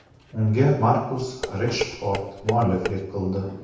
Unga Markus Reshford mualliflik qildi.